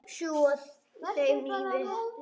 Sjúga úr þeim lífið.